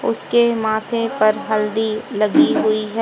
उसके माथे पर हल्दी लगी हुई है।